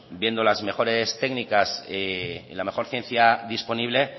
viendo las mejores técnicas y la mejor ciencia disponible